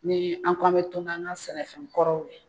Ni an ko an bɛ to n'an ka sɛnɛfɛn kɔrɔw ye